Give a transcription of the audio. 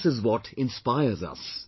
This is what inspires us